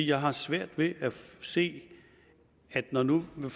jeg har svært ved at se det når nu man